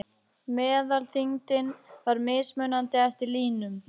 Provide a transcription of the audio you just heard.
Meðalþyngdin var mismunandi eftir línum.